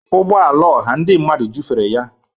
Ụgbọ ala ọha ndị mmadụ jụfere ya.